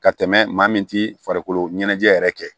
Ka tɛmɛ maa min ti farikolo ɲɛnajɛ yɛrɛ kɛ